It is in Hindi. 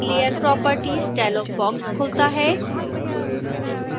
layer properties डायलॉग बॉक्स खुलता है